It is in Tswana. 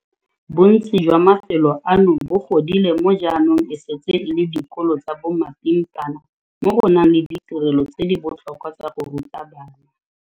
Bontsi jwa mafelo ano bo godile mo jaanong e setseng e le dikolo tsa bo mapimpana mo go nang le ditirelo tse di botlhokwa tsa go ruta bana.